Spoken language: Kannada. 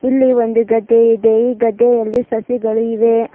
ಇಲ್ಲಿ ಒಂದು ಗದ್ದೆ ಇದೆ ಈ ಗದ್ದೆಯಲ್ಲಿ ಸಸಿಗಳು ಇವೆ.